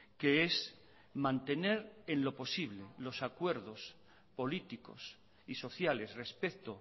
que es mantener en lo posible los acuerdos políticos y sociales respecto